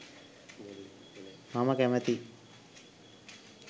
මම කැමතියි.